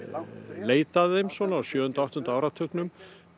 leit að þeim á sjöunda og áttunda áratugnum